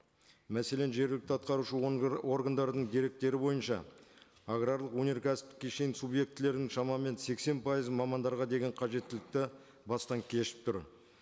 мәселен жергілікті атқарушы органдардың деректері бойынша аграрлық өнеркәсіптік кешен субъектілерінің шамамен сексен пайызы мамандарға деген қажеттілікті бастан кешіп тұр